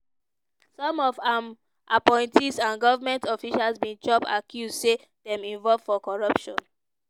some of im appointees and goment officials bin chop accuse say dem involve for corruption.